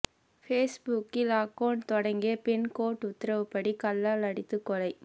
பேஸ்புக்கில் அக்கவுண்ட் தொடங்கிய பெண் கோர்ட் உத்தரவுப்படி கல்லால் அடித்துக் கொலை